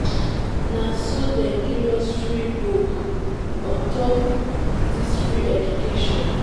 na so dem give us free book on top di free education.